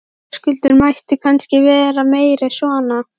Höskuldur: Mætti kannski vera meira svona?